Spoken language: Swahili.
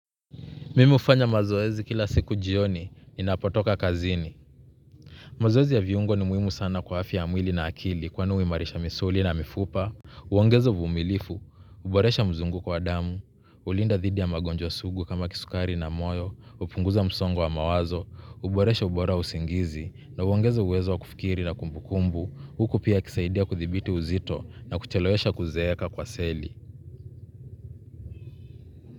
Mimi ufanya mazoezi kila siku jioni, ninapotoka kazini. Mazoezi ya viungo ni muimu sana kwa hafya ya mwili na akili kwani uimarisha misuli na mifupa. Uwongezo uvumilifu, uboresha mzunguko wa damu, ulinda thidi ya magonjwa sugu kama kisukari na moyo, upunguza msongo wa mawazo, uboresha ubora wa usingizi, na uoangeza uwezo wa kufikiri na kumbukumbu, huku pia yakisaidia kuthibiti uzito na kuchelewesha kuzeeka kwa seli.